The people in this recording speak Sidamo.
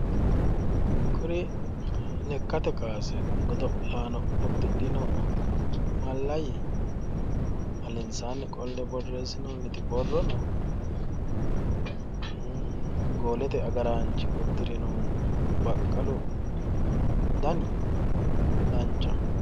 Kuri lekkate kaase godo'laano uddidhino mallayyi, alensaanni qolle borreessinoonni borrono, goolete agaraanchi uddirinohu baqalu dani danchaho.